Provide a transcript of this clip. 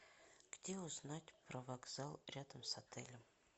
где узнать про вокзал рядом с отелем